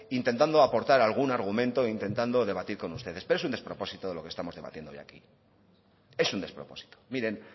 intentando aportar algún argumento e intentando debatir con ustedes pero es un despropósito de lo que estamos debatiendo hoy aquí es un despropósito miren